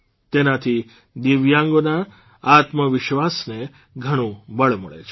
તેનાથી દિવ્યાંગોના આત્મવિશ્વાસને ઘણું બળ મળે છે